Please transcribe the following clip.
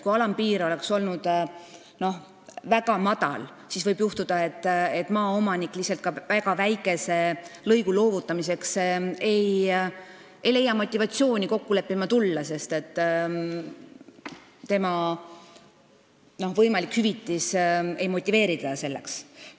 Kui alampiir oleks väga madal, siis võiks juhtuda, et maaomanik ei leia motivatsiooni ka väga väikese lõigu loovutamiseks kokku leppima tulla, sest võimalik hüvitis ei motiveeri teda selleks.